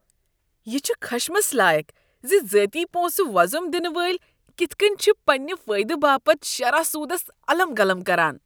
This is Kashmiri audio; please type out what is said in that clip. یہ چھُ خشمس لایق زِ ذٲتی پونسہٕ وۄزُم دِنہٕ وٲلۍ كِتھ كٔنۍ چھِ پنٛنہِ فٲیدٕ باپت شرح سوٗدس الم گلم كران۔